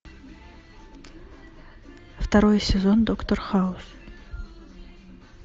второй сезон доктор хаус